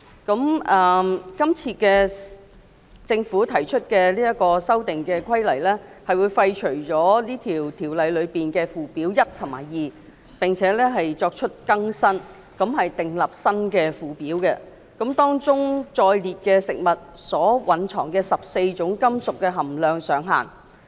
今次政府提出的《修訂規例》會廢除《規例》的附表1及 2， 並作出更新，訂定新附表，當中載列食物中14種金屬的含量上限。